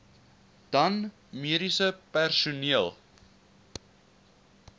dan mediese personeel